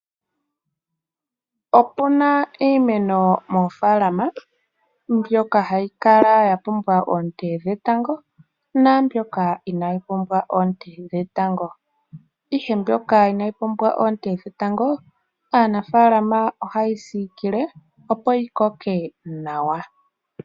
Opu na iimeno moofaalama mbyoka hayi kala ya pumbwa oonte dhetango naamboka inaayi pumbwa oonte dhetango, ihe mbyoka inayi pumbwa oonte dhetango aanafaalama ohaye yi siikile, opo yi koke nawa.